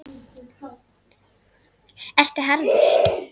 Ertu harður?